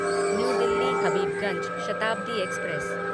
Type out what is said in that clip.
new Delhi Habibganj Shatabdi express